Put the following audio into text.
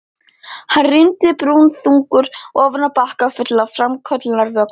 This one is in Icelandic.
Hann rýndi brúnaþungur ofan í bakka fullan af framköllunarvökva.